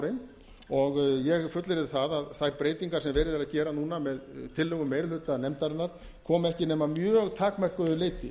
ufsaborinn og ég fullyrði að þær breytingar sem verið er að gera núna með tillögum meiri hluta nefndarinnar koma ekki nema að mjög takmörkuðu leyti